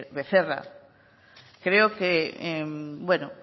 becerra que veo